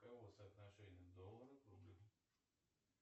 каково соотношение доллара к рублю